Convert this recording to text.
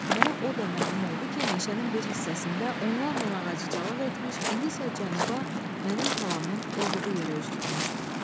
Mənə o da məlum oldu ki, meşənin bir hissəsində onlarla ağacı calaq etmiş, indi isə cənuba, mənim talamın olduğu yerə üz tutmuşdu.